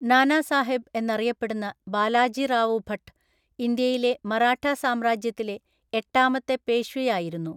നാനാ സാഹേബ് എന്നറിയപ്പെടുന്ന ബാലാജിറാവു ഭട്ട് ഇന്ത്യയിലെ മറാഠാ സാമ്രാജ്യത്തിലെ എട്ടാമത്തെ പേഷ്വയായിരുന്നു.